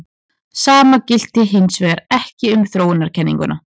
Sama gilti hins vegar ekki um þróunarkenninguna.